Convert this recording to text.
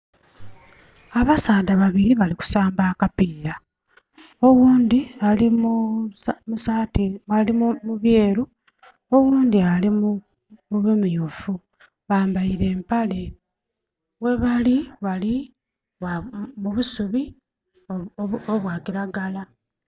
Abasaadha babiri bali kusamba akapiira oghundhi ali mu saati, ali mu byeru oghundhi ali mu bimyufu. bambaile empale, ghebali bali mu busubi obwa kiragala.